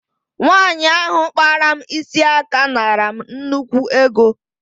Nwaanyi ahụ kpara m isi aka naara m nnukwu ego.